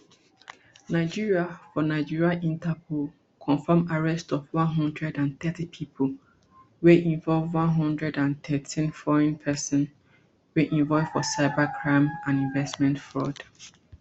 nigeria for nigeria interpol confam arrest of one hundred and thirty pipo wey involve one hundred and thirteen foreign pesin wey involve for cyber scams and investment fraud